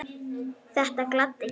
Þetta gladdi Gerði.